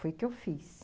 Foi o que eu fiz.